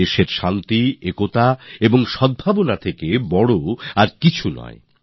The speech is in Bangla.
দেশে শান্তি একতা আর সদ্ভাবনার মূল্য সবার উপরে